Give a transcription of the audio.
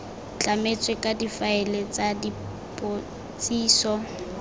tlametswe ka difaele tsa dipotsiso